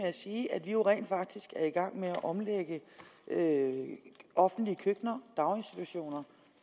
at sige at vi jo rent faktisk er i gang med at omlægge offentlige køkkener daginstitutioner